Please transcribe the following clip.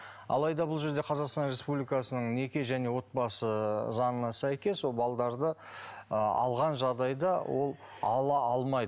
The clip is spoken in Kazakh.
алайда бұл жерде қазақстан республикасының неке және отбасы заңына сәйкес ол балаларды ы алған жағдайда ол ала алмайды